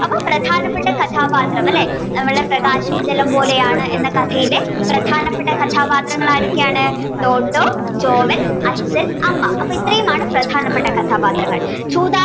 അപ്പൊ പ്രധാനപ്പെട്ട കഥാപാത്രം അല്ലേ നമ്മളുടെ പ്രകാശം ജലം പോലെയാണ് എന്ന കഥയിലെ പ്രധാനപ്പെട്ട കഥാപാത്രങ്ങൾ ആരൊക്കെയാണ് ടോട്ടോ ജോവൽ അച്ഛൻ അമ്മ അപ്പൊ ഇത്രയും ആണ് പ്രധാനപ്പെട്ട കഥാപാത്രങ്ങൾ ചൂതാട്ടം